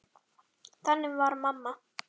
Þannig var mamma.